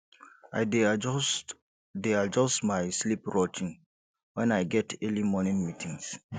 i dey adjust dey adjust my sleep routine when i get early morning meetings